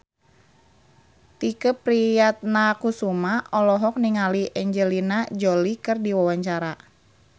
Tike Priatnakusuma olohok ningali Angelina Jolie keur diwawancara